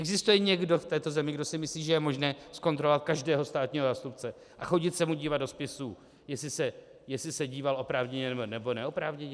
Existuje někdo v této zemi, kdo si myslí, že je možné zkontrolovat každého státního zástupce a chodit se mu dívat do spisů, jestli se díval oprávněně nebo neoprávněně?